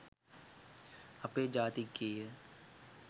අපේ ජාතික ගීය